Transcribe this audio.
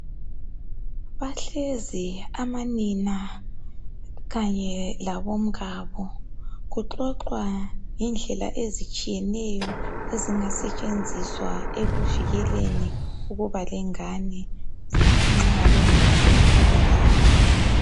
Behlezi amanina kanye labomkabo kuxoxwa ngendlela ezitshiyeneyo ezingasetshenziswa ekuvikeleni ekubeni lengane nxabengafuni ukuba lazo.